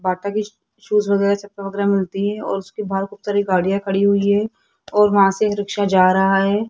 बाटा की शूज मिलती है और उसके बाहर खूब सारी गाड़ियां खड़ी हुई है और वहां से ई रिक्शा जा रहा है।